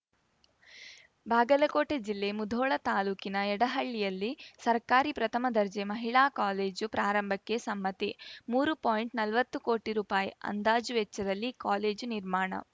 ಬಾಗಲಕೋಟೆ ಜಿಲ್ಲೆ ಮುಧೋಳ ತಾಲೂಕಿನ ಯಡಹಳ್ಳಿಯಲ್ಲಿ ಸರ್ಕಾರಿ ಪ್ರಥಮ ದರ್ಜೆ ಮಹಿಳಾ ಕಾಲೇಜು ಪ್ರಾರಂಭಕ್ಕೆ ಸಮ್ಮತಿ ಮೂರು ಪಾಯಿಂಟ್ನಲ್ವತ್ತು ಕೋಟಿ ರುಪಾಯಿ ಅಂದಾಜು ವೆಚ್ಚದಲ್ಲಿ ಕಾಲೇಜು ನಿರ್ಮಾಣ